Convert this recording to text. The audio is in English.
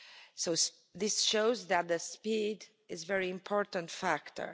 So this shows that speed is a very important factor.